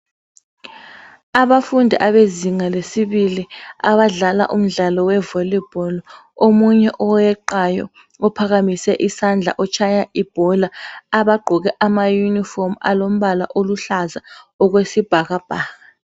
Abafundi abezinga le sibili abadlala umdlalo we volibholi omunye oweqayo uphakamise isandla utshaya ibhola bagqoke amayunifomu aluhlaza okwesibhakabhaka